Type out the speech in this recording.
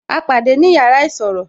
A pàdé ni yàrá isọ̀rọ̀